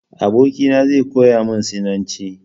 Abokina zai koya min Sinanci.